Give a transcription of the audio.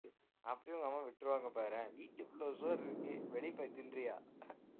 அப்படியே உங்க அம்மா விட்டுருவாங்க பாரேன் வீட்டுக்குள்ள இவ்ளோ சோறு இருக்கு வெளிய போய் தின்றியா